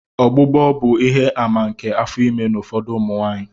Ọgbụgbọ bụ ihe-àmà nke afọ ime n'ụfọdụ ụmụ nwanyị.